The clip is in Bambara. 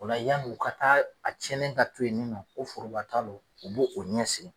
Ola yan'u ka taa a cɛnnen ka to yen nin nɔn, ko forobaa ta lon, u b'o o ɲɛsigi